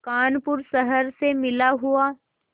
कानपुर शहर से मिला हुआ